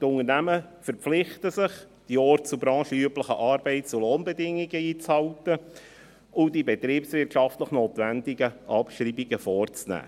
Die Unternehmen verpflichten sich, die orts- und branchenüblichen Arbeits- und Lohnbedingungen einzuhalten und die betriebswirtschaftlich notwendigen Abschreibungen vorzunehmen.